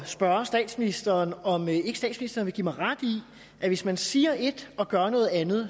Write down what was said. spørge statsministeren om ikke statsministeren vil give mig ret i at hvis man siger et og gør noget andet